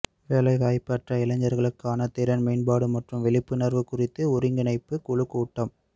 வேலைவாய்ப்பற்ற இளைஞர்களுக்கான திறன் மேம்பாடு மற்றும் விழிப்புணர்வு குறித்த ஒருங்கிணைப்பு குழு கூட்டம்